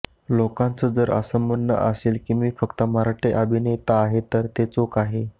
लोकांचं जर असं म्हणणं असेल की मी फक्त मराठी अभिनेता आहे तर ते चूक आहे